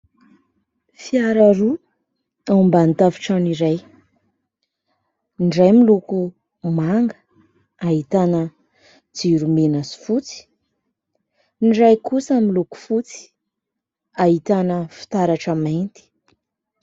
Fiara roa ao ambany tafotrano iray. Ny iray miloko manga, ahitana jiro mena sy fotsy. Ny iray kosa miloko fotsy ahitana fitaratra mainty.